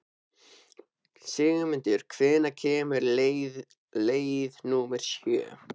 Sigmundur, hvenær kemur leið númer sjö?